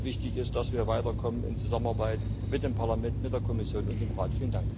Wichtig ist, dass wir weiterkommen in Zusammenarbeit mit dem Parlament, mit der Kommission und dem Rat.